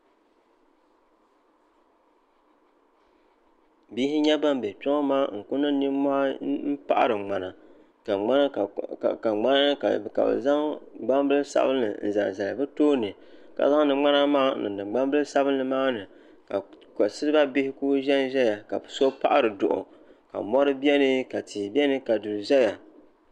Bihi n-nyɛ ban be kpe ŋɔ maa n-kuli niŋ ninmɔhi m-paɤiri ŋmana ka bɛ zaŋ gbambili sabinli n-zaŋ Zali bɛ tooni ka zaŋdi ŋmana maa n-niŋdi gbambili sabinli maa ni ka siliba bihi kuli ʒe n-ʒɛya ka bɛ paɤiri duɤu ka mɔri beni ka tihi beni ka duri ʒɛya